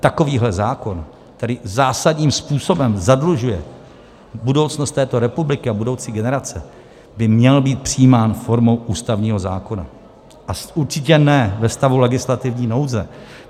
Takovýto zákon, který zásadním způsobem zadlužuje budoucnost této republiky a budoucí generace, by měl být přijímán formou ústavního zákona a určitě ne ve stavu legislativní nouze.